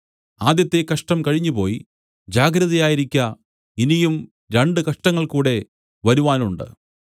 ആദ്യത്തെ കഷ്ടം കഴിഞ്ഞുപോയി ജാഗ്രതയായിരിക്ക ഇനിയും രണ്ട് കഷ്ടങ്ങൾ കൂടെ വരുവാനുണ്ട്